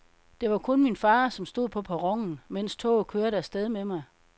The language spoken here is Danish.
Det var kun min far som stod på perronen, mens toget kørte af sted med mig.